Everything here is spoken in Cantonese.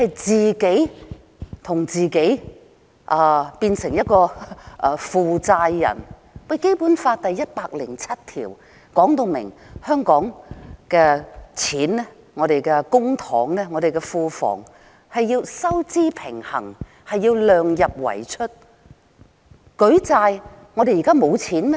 政府自己變成一個負債人，《基本法》第一百零七條說明香港的公帑或庫房必須收支平衡，量入為出。